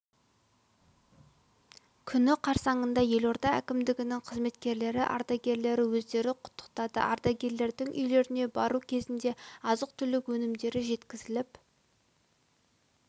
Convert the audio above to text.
күні қарсаңында елорда әкімдігінің қызметкерлері ардагерлері өздері құттықтады ардагерлердің үйлеріне бару кезінде азық-түлік өнімдері жеткізіліп